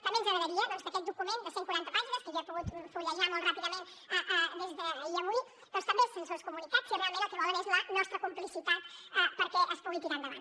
també ens agradaria que aquest document de cent i quaranta pàgines que jo he pogut fullejar molt ràpidament ahir i avui doncs també se’ns hagués comunicat si realment el que volen és la nostra complicitat perquè es pugui tirar endavant